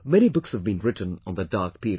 Many books have been written on that dark period